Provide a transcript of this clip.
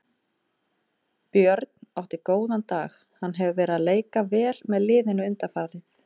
Björn átti góðan dag, hann hefur verið að leika vel með liðinu undanfarið.